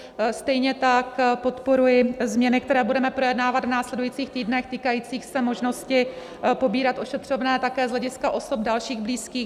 Stejně tak podporuji změny, které budeme projednávat v následujících týdnech, týkající se možnosti pobírat ošetřovné také z hlediska osob dalších blízkých.